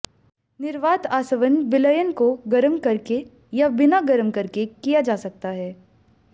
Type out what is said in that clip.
निर्वात आसवन विलयन को गर्म करके या बिना गर्म करके किया जा सकता है